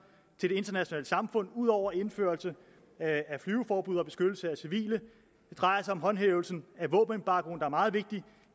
til det internationale samfund ud over indførelse af flyveforbud og beskyttelse af civile det drejer sig om håndhævelsen af våbenembargoen der er meget vigtig